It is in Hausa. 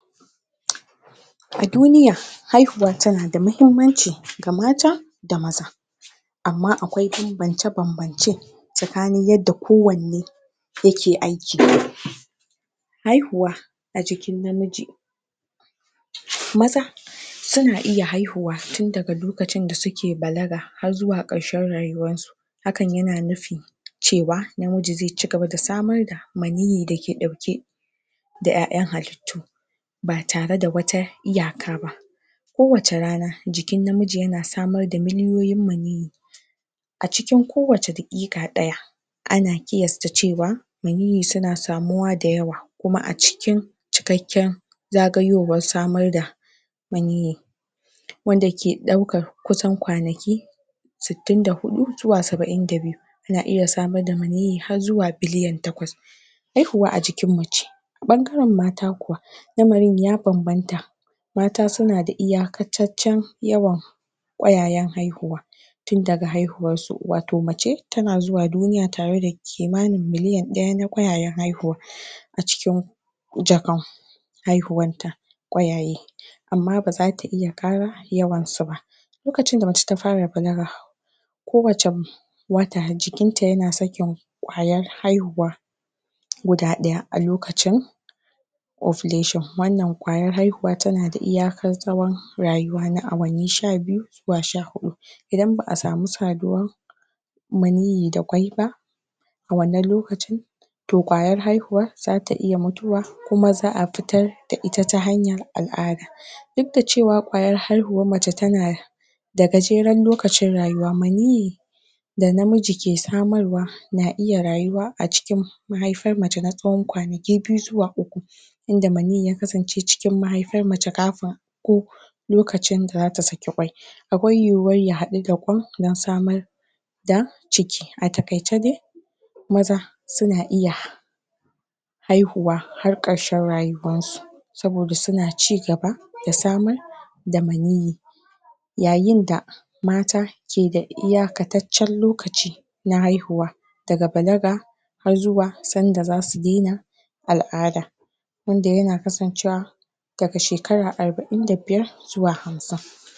? a duniya haihuwa tana da mahimmanci ga mata da maza amma akwai banbance banbance tsakanin yadda kowanne yake aiki haihuwa a jikin namiji maza suna iya haihuwa tun daga loakcin da suka balaga har xuwa karshen rayuwansu hakan yana nufin cewa namiji zai chigaba da samar da maniyyi da ke dauke da yayan halittu ba tare da wata iyaka ba kowace rana jikin namiji yana samar da miliyoyin maniyyi a cikin kowace daqiqa daya ana qiyasta cewa maniyyi suna samuwa da yawa kuma a cikin cikakken zagayowar samar da maniyyi wanda ke daukar kusan kwanaki sitti da hudu zuwa saba'in da biyu yana iya samar da miniyyi har xuwa biliyan takwas haihuwa a jikin mace bangaren mata kuwa lamarin ya banbanta mata suna da iyakaceccen yawan qwayayen haihuwa tun daga haihuwarsu wato mace tana xuwa duniya tare da kimanin miliyan daya na kwayayen haihuwa? a cikin jakan haihuwanta kwayaye amma baza ta iya kara yawansu ba lokacin da mace ta fara balaga kowacce kowacce wata jikinta ya na sakin qwayar haihuwa guda daya alokacin ovulation wannan qwayar haihuwa tana da iyakar tsawon rayuwa na awanni sha biyu zuwa sha huhu idan baa samu saduwa maniyyi da kwai ba a wannan lokacin to qwayar haihuwar zata iya mutuwa kuma zaa fitar da ita ta hanyar al'ada duk da cewa qwayar haihuwar mace tana da da gajeren lokacin rayuwa maniyyi da da namiji ke samar wa na iya na iya rayuwa a cikin mahaifar mace na tsawon kwanaki biyu xuwa uku inda maniyyi ya kasance cikin mahaifar mace kafin ko lokacin da zata saki qwai akwai yiwuwar ya hadu da kwan dan samar da da ciki a takaice dai maza suna iya haihuwa har karshen rayuwarsu saboda suna chigaba da samar da maniyyi yayin da mata ke da iyakataccen lokaci na haihuwa daga balaga har zuwa san da zasu dena al'ada wanda yana kasancewa daga shekara arba'in da biyar zuwa hamsin